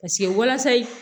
Paseke walasa